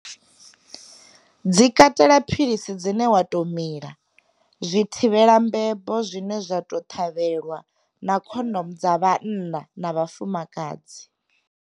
Dzi katela philisi dzine wa tou mila, zwithivhelambebo zwine zwa tou ṱhavhelwa, na khondomo dza vhanna na vhafumakadzi.